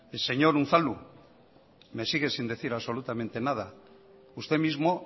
señor unzalu me sigue sin decir absolutamente nada usted mismo